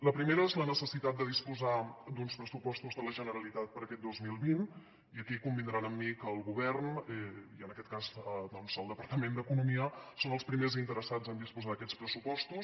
la primera és la necessitat de disposar d’uns pressupostos de la generalitat per a aquest dos mil vint i aquí convindran amb mi que el govern i en aquest cas doncs el departament d’economia són els primers interessats a disposar d’aquests pressupostos